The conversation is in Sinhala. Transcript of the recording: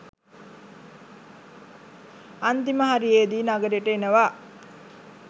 අන්තිම හරියෙදි නගරෙට එනවා